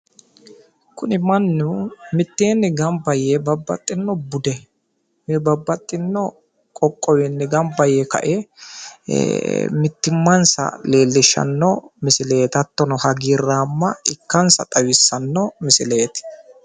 Kuni mannu mitteenni gamba yee babbaxxinno bude babbaxxinno qoqqowinni gamba yee mittimmansa leellishshanno misileeti.